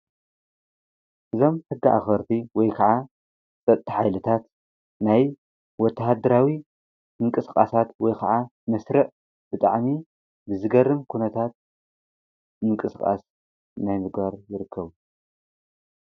እዞም ሕጊ ኣክበርቲ ወይ ከዓ ፀጥታ ሓይልታት ናይ ወታድራዊ ምንቅስቃሳት ወይ መስርዕ ብጣዕሚ ዝገርም ኩነታት ምንቅስቃስ ናይ ምግባር ዝርከቡ።